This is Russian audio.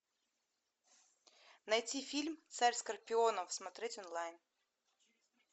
найти фильм царь скорпионов смотреть онлайн